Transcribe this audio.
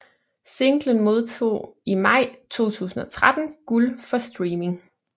Singlen modtog i maj 2013 guld for streaming